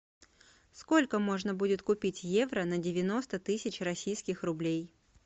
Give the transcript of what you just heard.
сколько можно будет купить евро на девяносто тысяч российских рублей